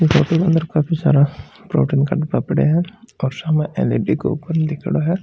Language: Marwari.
क अंदर काफी सारा प्रोटीन का डब्बा पड्या है और सम्म एल. ई. डी. का ऊपर लीखेड़ो है --